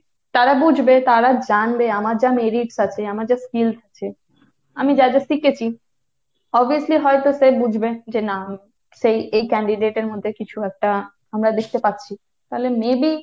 তারা বুঝবে, তারা জানবে, আমার যা merits আছে, আমার যা skills আছে, আমি যা যা শিখেছি, obviously হয়তো সে বুঝবে যে না এই candidate এর মধ্যে কিছু একটা আমরা দেখতে পাচ্ছি। তালে maybe,